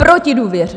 Proti důvěře.